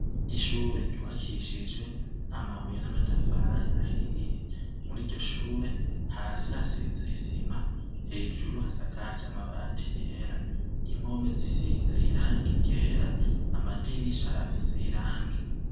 ishure ryubakishijwe amabuye n'amatafari ahiye. Muri iryo shure hasi hubakishije isima hejuru hasakaje amabati yera. Impome zisize irangi yera, amadirisha afise irangi.